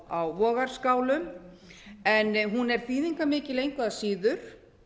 á vogarskálum en hún er þýðingarmikil engu að síður